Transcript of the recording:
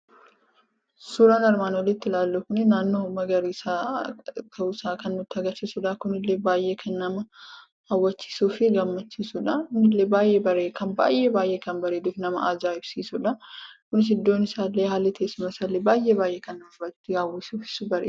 Suuraan armaan oliitti ilaallu kuni naannoo magariisa ta'u isaa kan nuti agarsiisudha. Kun illee baay'ee kan nama hawwatuufi gaammchiisuudha. Kun illee baay'ee kan bareedufi kan aja'ibsisuudha. Kunis illee iddoon tessuumaa isa illee baay'ee baay'ee kan nama ofitti hawwisisuufi bareeduudha.